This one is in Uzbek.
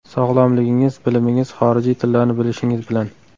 Sog‘lomligingiz, bilimingiz, xorijiy tillarni bilishingiz bilan.